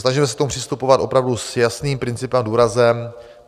Snažíme se k tomu přistupovat opravdu s jasným principem a důrazem.